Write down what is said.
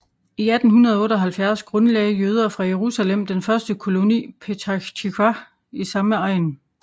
I 1878 grundlagde jøder fra Jerusalem den første koloni petach tiqwa i samme egn